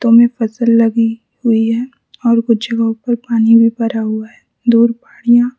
तो में फसल लगी हुई हैं और कुछ जगहों पर पानी भी भरा हुआ है दूर पहाड़ियां--